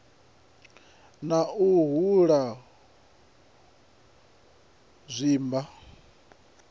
na u hula u zwimba